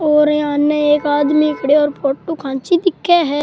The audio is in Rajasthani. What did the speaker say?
और यहाँ है न एक आदमी फोटो खींचे दिखे है।